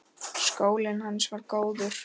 Skólinn hans var góður.